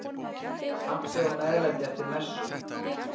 Kaffi og meðlæti eftir messu.